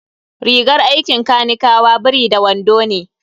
Rigar aikin kanikawa biri da wando ne.